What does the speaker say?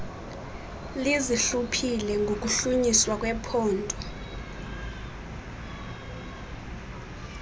lizihluphile ngokuhlunyiswa kwephondo